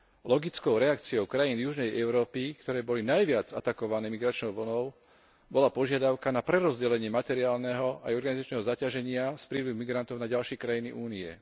Logickou reakciou krajín južnej Európy, ktoré boli najviac atakované migračnou vlnou, bola požiadavka na prerozdelenie materiálneho a organizačného zaťaženia z prílivu migrantov na ďalšie krajiny Únie.